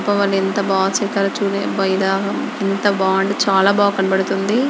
ఎంత బా చెక్కారో చుడండి.ఫై ఢాకా ఎంత బ గుంది. డిచాలా బాగుకనబడుతుంది.